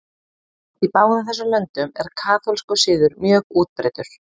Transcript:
Í báðum þessum löndum er kaþólskur siður mjög útbreiddur.